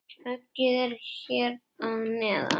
Höggið er hér að neðan.